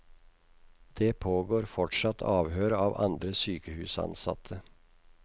Det pågår fortsatt avhør av andre sykehusansatte.